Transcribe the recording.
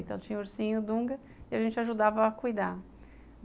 Então, tinha ursinho, Dunga, e a gente ajudava a cuidar.